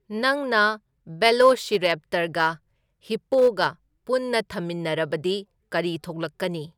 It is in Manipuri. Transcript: ꯅꯪꯅ ꯚꯦꯂꯣꯁꯤꯔꯦꯞꯇꯔꯒ ꯍꯤꯞꯄꯣꯒ ꯄꯨꯟꯅ ꯊꯝꯃꯤꯟꯅꯔꯕꯗꯤ ꯀꯔꯤ ꯊꯣꯛꯂꯛꯀꯅꯤ